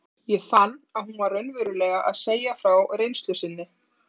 Ég fann að hún var raunverulega að segja frá reynslu sinni.